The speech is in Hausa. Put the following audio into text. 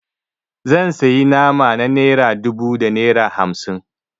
Zan sayi nama na naira dubu da naira hamsin.